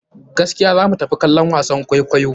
Gaskiya za mu tafi kallon wasan kwaikwayo.